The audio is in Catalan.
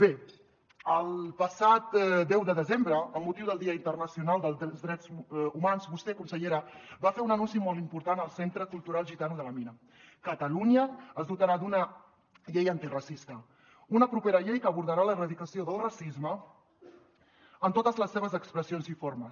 bé el passat deu de desembre amb motiu del dia internacional dels drets humans vostè consellera va fer un anunci molt important al centre cultural gitano de la mina catalunya es dotarà d’una llei antiracista una propera llei que abordarà l’erradicació del racisme en totes les seves expressions i formes